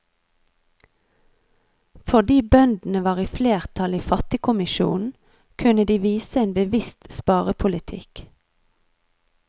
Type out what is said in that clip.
Fordi bøndene var i flertall i fattigkommisjonen, kunne de vise en bevisst sparepolitikk.